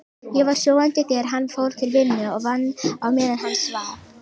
Ég var sofandi þegar hann fór til vinnu og vann á meðan hann svaf.